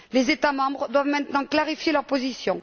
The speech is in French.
Les États membres doivent maintenant clarifier leur position.